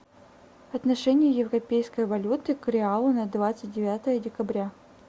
отношение европейской валюты к реалу на двадцать девятое декабря